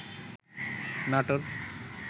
Natore